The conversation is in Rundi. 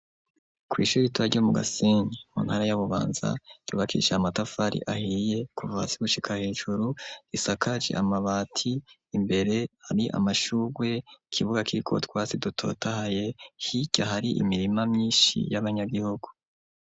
Kw' ishuri ritoya ryo mu Gasenyi muntara ya Bubanza ryubakishije amatafari ahiye kuva hasi gushika hejuru, risakaje amabati imbere hari amashurwe ikibuga kiriko utwasi dutotahaye hirya hari imirima myinshi y'abanyagihugu.